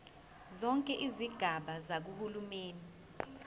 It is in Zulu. zonke izigaba zikahulumeni